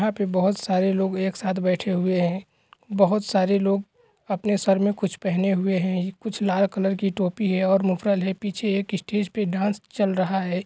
यहां पे बहुत सारे लोग एक साथ बैठे हुए हैं बहुत सारे लोग अपने सिर मे कुछ पहने हुए हैं कुछ लाल कलर की टोपी और मुफ़लर है और पीछे एक स्टेज पे डांस चल रहा है।